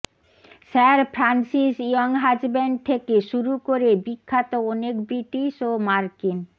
sir Francis Younghusband থেকে শুরু করে বিখ্যাত অনেক ব্রিটিশ ও মার্কিন